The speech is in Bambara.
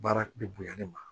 Baara bɛ bonya ne ma